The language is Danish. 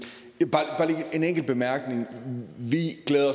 enkelt bemærkning vi glæder